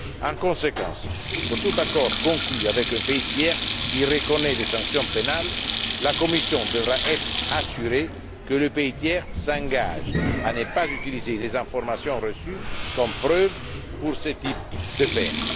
En conséquence, pour tout accord conclu avec un pays tiers qui reconnaît des sanctions pénales, la Commission devra être assurée que ce pays s'engage à ne pas utiliser les informations reçues comme preuves pour infliger ce type de peine.